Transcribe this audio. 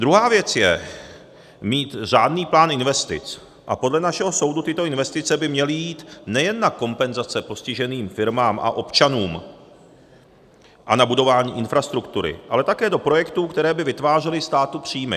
Druhá věc je, mít řádný plán investic a podle našeho soudu tyto investice by měly jít nejen na kompenzace postiženým firmám a občanům a na budování infrastruktury, ale také do projektů, které by vytvářely státu příjmy.